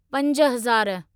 पंज हज़ार